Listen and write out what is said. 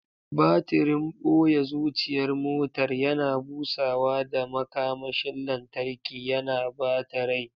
Batirin, boye zuciyar motar, yana busawa da makamashin lantarki, yana ba ta rai.